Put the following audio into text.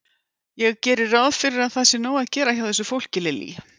Ég geri ráð fyrir að það sé nóg að gera hjá þessu fólki, Lillý?